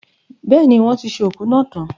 Bẹ́ẹ̀ni, wọ́n ti ṣe òkú náà tan.